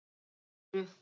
Til dæmis eru